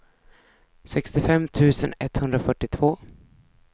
sextiofem tusen etthundrafyrtiotvå